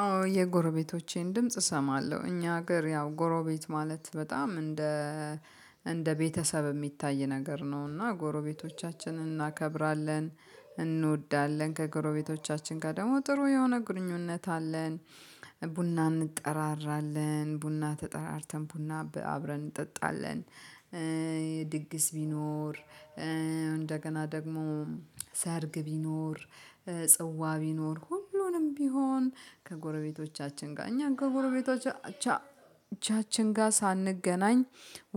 አዎ የጎረቤቶቼን ድምጽ እሰማለሁ እኛ ሀገር ያው ጎረቤት ማለት በጣም እንደ እንደ ቤተሰብ የሚታይ ነገር ነው እና ጎረቤቶቻችንን እናከብራለን እንወዳለን ከጎረቤቶቻችን ጋር ደግሞ ጥሩ የሆነ ግንኙነት አለን። ቡና እንጠራራለን ቡና ተጠራርተን ቡና አብረን እንጠጣለን። ድግስ ቢኖር እንደገና ደግሞ ሰርግ ቢኖር ጽዋ ቢኖር ሁሉንም ቢሆን ከጎረቤቶቻችን ጋር እኛ ከጎረቤቶቻችን ጋር ሳንገናኝ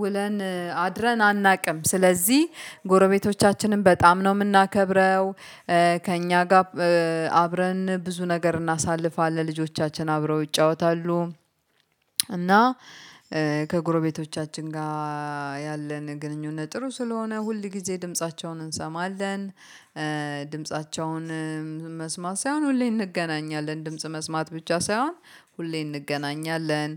ውለን አድረን አናውቅም ስለዚህ ጎረቤቶቻችንን በጣም ነው የምናከብረው። ከእኛ ጋር አብረን ብዙ ነገር እናሳልፋለን ልጆቻችን አብረው ይጫወታሉ። እና ከጎረቤቶቻችን ጋር ያለን ግንኙነት ጥሩ ስለሆነ ሁል ጊዜ ድምፃቸውን እንሰማለን። ድምፃቸውን መስማት ሳይሆን ሁሌ እንገናኛለን ድምጽ መስማት ብቻ ሳይሆን ሁሌም እንገናኛለን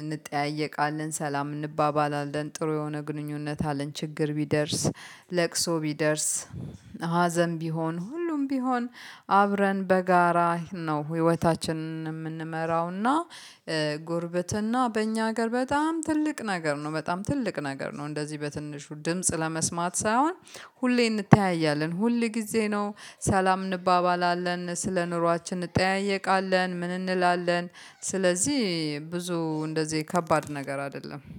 እንጠያየቃለን ሰላም እንባባላለን ጥሩ የሆነ ግንኙነት አለን። ችግር ቢደርስ ለቅሶ ቢደርስ ሀዘን ቢሆን ሁሉም ቢሆን አብረን በጋራ ነው ህይወታችንን የምንመራውና። ጉርብትና በእኛ ሀገር በጣም ትልቅ ነገር ነው በጣም ትልቅ ነገር ነው። እንደዚህ በትንሹ ድምጽ ለመስማት ሳይሆን ሁሌ እንተያያለን ሁል ጊዜ ነው ሰላም እንባባላለን ስለ ኑሯችን እንጠያየቃለን። ምን እንላለን? ስለዚህ ብዙ እንደዚህ ከባድ ነገር አይደለም